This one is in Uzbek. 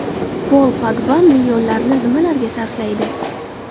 Pol Pogba millionlarini nimalarga sarflaydi?